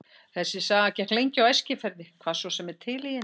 Þessi saga gekk lengi á Eskifirði, hvað svo sem er til í henni.